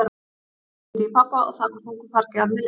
Ég hringdi í pabba og það var þungu fargi af mér létt.